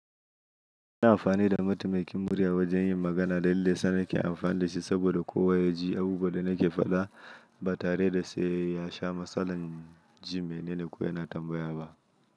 Ina amfani da mataimakin murya wajen yin magana da meyasa nake amfani da shi saboda kowa ya ji abubuwan da nake faɗa ba tare da sai ya sha matsalan ji mene ne ko yana tambaya ba.